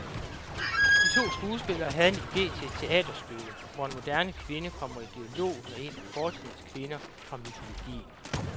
De to skuespillere havde en ide til et teaterstykke, hvor en moderne kvinde kommer i dialog med en af fortidens kvinder fra mytologien.